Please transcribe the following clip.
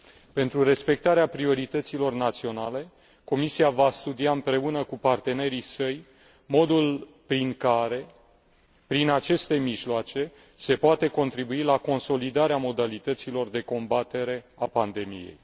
Pentru respectarea priorităților naționale, Comisia va studia împreună cu partenerii săi modul prin care, prin aceste mijloace, se poate contribui la consolidarea modalităților de combatere a pandemiei.